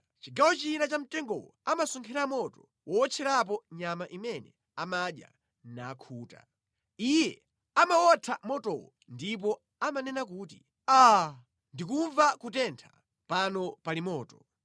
Chigawo china cha mtengowo amasonkhera moto wowotcherapo nyama imene amadya, nakhuta. Iye amawotha motowo ndipo amanena kuti, “Aa! Ndikumva kutentha; pano pali moto.”